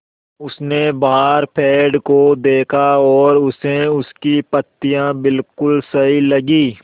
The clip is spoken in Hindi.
उसने बाहर पेड़ को देखा और उसे उसकी पत्तियाँ बिलकुल सही लगीं